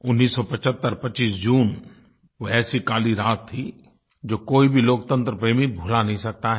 1975 25 जून वो ऐसी काली रात थी जो कोई भी लोकतंत्र प्रेमी भुला नहीं सकता है